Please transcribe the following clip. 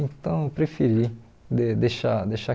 Então, eu preferi de deixar deixar